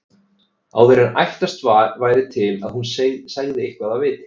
Áður en ætlast væri til að hún segði eitthvað af viti.